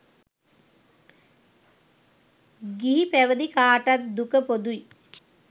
ගිහි පැවදි කාටත් දුක පොදුයි